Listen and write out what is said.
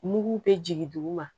Mugu bɛ jigin duguma